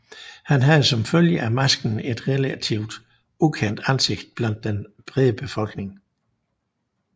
Han havde som følge af masken et relativt ukendt ansigt blandt den brede befolkning